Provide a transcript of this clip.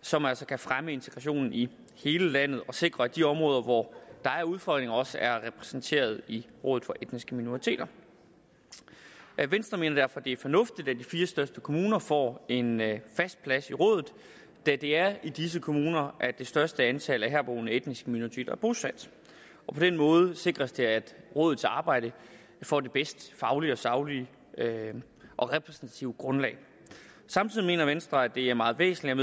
som altså kan fremme integrationen i hele landet og sikre at de områder hvor der er udfordringer også er repræsenteret i rådet for etniske minoriteter venstre mener derfor det er fornuftigt at de fire største kommuner får en fast plads i rådet da det er i disse kommuner at det største antal af herboende etniske minoriteter er bosat på den måde sikres det at rådets arbejde får det bedste faglige og saglige og repræsentative grundlag samtidig mener venstre at det er meget væsentligt